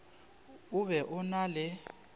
o be o na le